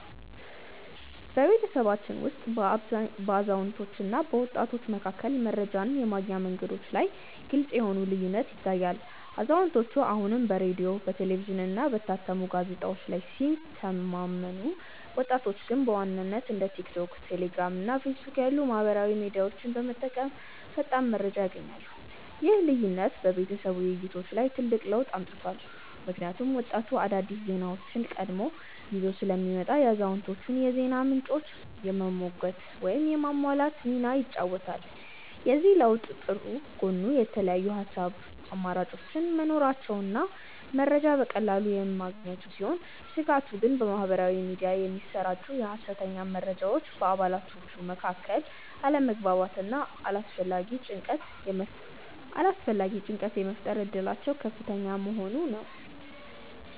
በቤተሰባችን ውስጥ በአዛውንቶችና በወጣቶች መካከል መረጃን የማግኛ መንገዶች ላይ ግልጽ የሆነ ልዩነት ይታያል፤ አዛውንቶቹ አሁንም በሬዲዮ፣ በቴሌቪዥንና በታተሙ ጋዜጦች ላይ ሲተማመኑ፣ ወጣቶቹ ግን በዋናነት እንደ ቲክቶክ፣ ቴሌግራም እና ፌስቡክ ያሉ ማኅበራዊ ሚዲያዎችን በመጠቀም ፈጣን መረጃ ያገኛሉ። ይህ ልዩነት በቤተሰብ ውይይቶች ላይ ትልቅ ለውጥ አምጥቷል፤ ምክንያቱም ወጣቱ አዳዲስ ዜናዎችን ቀድሞ ይዞ ስለሚመጣ የአዛውንቶቹን የዜና ምንጮች የመሞገት ወይም የማሟላት ሚና ይጫወታል። የዚህ ለውጥ ጥሩ ጎን የተለያዩ የሐሳብ አማራጮች መኖራቸውና መረጃ በቀላሉ መገኘቱ ሲሆን፣ ስጋቱ ግን በማኅበራዊ ሚዲያ የሚሰራጩ የሐሰተኛ መረጃዎች በአባላቱ መካከል አለመግባባትና አላስፈላጊ ጭንቀት የመፍጠር እድላቸው ከፍተኛ መሆኑ ነው።